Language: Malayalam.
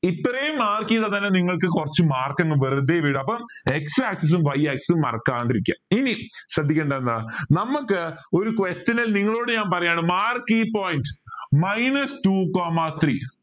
ഇത്രയും mark ചെയ്താ തന്നെ നിങ്ങൾക്ക് കുറച്ച് mark ക്കെങ്കിലും വെറുതെ വരും അപ്പോ x axis സും y axis സും മറക്കാതിരിക്കുക ഇനി ശ്രദ്ധിക്കേണ്ടത് എന്താ നമുക്ക് ഒരു question ൽ നിങ്ങളോട് ഞാൻ പറയാണ് mark point minus two coma three